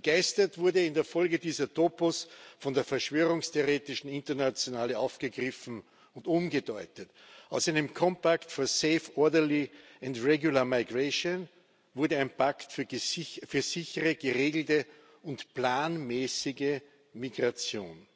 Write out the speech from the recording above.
Begeistert wurde in der Folge dieser Topos von der verschwörungstheoretischen Internationale aufgegriffen und umgedeutet. Aus einem Compact for Safe, Orderly and Regular Migration wurde ein Pakt für sichere, geregelte und planmäßige Migration.